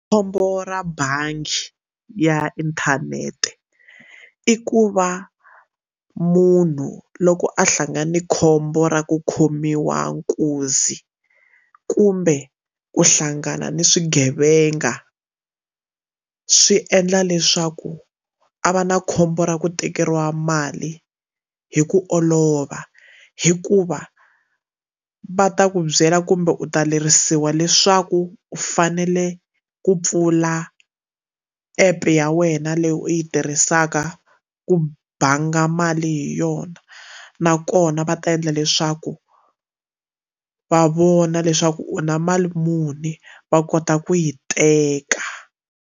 Khombo ra bangi ya inthanete i ku va munhu loko a hlangana na khombo ra ku khomiwa nkuzi kumbe ku hlangana ni swigevenga swi endla leswaku a va na khombo ra ku tekeriwa mali hi ku olova hikuva va ta ku byela kumbe u ta lerisiwa leswaku u fanele ku pfula app ya wena leyi u yi tirhisaka ku banga mali hi yona nakona va ta endla leswaku va vona leswaku u na mali muni va kota ku yi teka.